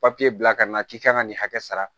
Papiye bila ka na k'i ka kan ka nin hakɛ sara